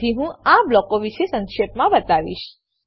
તેથી હું આ બ્લોકો વિશે સંક્ષેપમાં બતાવીશ